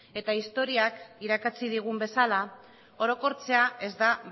eta historiak irakatsi digun bezala orokortzea ez da